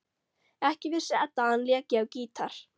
Ekki vissi Edda að hann léki á gítar.